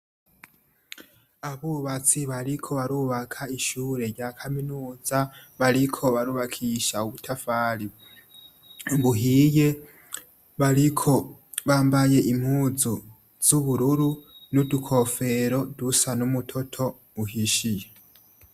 Abubatsi bariko barubaka ishure rya kaminuza, bariko barubakisha ubutafari buhiye, bambaye impuzu zubururu nudukofero dusa nimitoto ihishiye.